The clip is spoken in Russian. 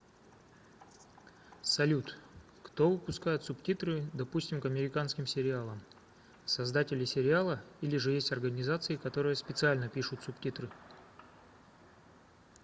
салют кто выпускает субтитры допустим к американским сериалам создатели сериала или же есть организации которые специально пишут субтитры